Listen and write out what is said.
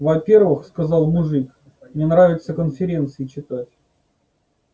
во-первых сказал мужик мне нравится конференции читать